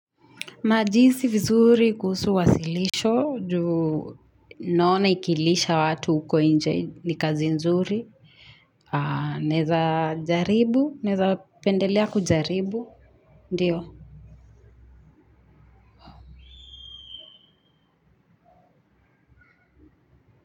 Majisi vizuri kuhusu wasilisho, juu naona ikilisha watu uko nje ni kazi nzuri. Naeza jaribu, naeza pendelea kujaribu, ndio.